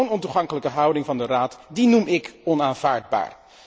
Zo'n ontoegankelijke houding van de Raad, die noem ík onaanvaardbaar.